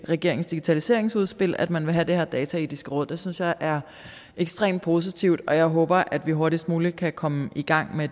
regeringens digitaliseringsudspil at man ville have det her dataetiske råd det synes jeg er ekstremt positivt og jeg håber at vi hurtigst muligt kan komme i gang med